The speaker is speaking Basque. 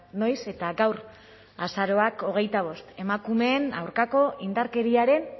noiz eta gaur azaroak hogeita bost emakumeen aurkako indarkeriaren